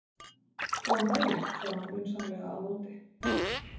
Góðan daginn, sagði hún vinsamlega á móti.